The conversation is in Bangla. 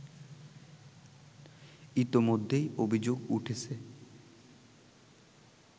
ইতোমধ্যেই অভিযোগ উঠেছে